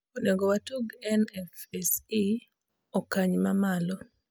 inego watug nfse okany ma malo